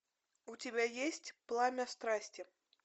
у тебя есть пламя страсти